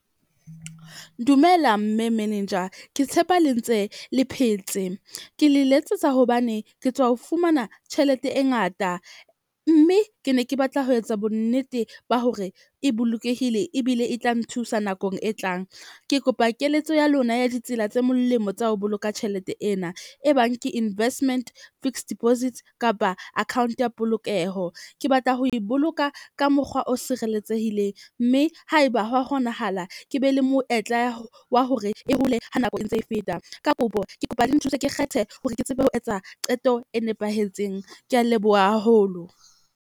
Dumela mme menenja, ke tshepa le ntse le phetse. Ke le letsetsa hobane ke tswa ho fumana tjhelete e ngata mme ke ne ke batla ho etsa bonnete ba hore e bolokehile ebile e tla nthusa nakong e tlang. Ke kopa keletso ya lona ya ditsela tse molemo tsa ho boloka tjhelete ena. E bang ke investment fixed deposit kapa account ya polokeho. Ke batla ho e boloka ka mokgwa o sireletsehileng. Mme haeba hwa kgonahala, ke be le moetla wa hore e hole ha nako e ntse e feta, ka kopo ke kopa le nthuse, ke kgethe hore ke tsebe ho etsa qeto e nepahetseng. Ke a leboha haholo.